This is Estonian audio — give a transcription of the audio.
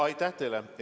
Aitäh teile!